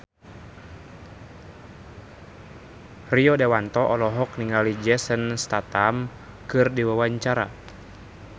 Rio Dewanto olohok ningali Jason Statham keur diwawancara